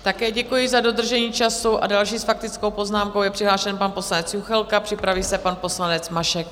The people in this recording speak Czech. Také děkuji za dodržení času a další s faktickou poznámkou je přihlášen pan poslanec Juchelka, připraví se pan poslanec Mašek.